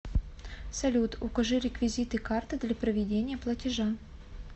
салют укажи реквизиты карты для проведения платежа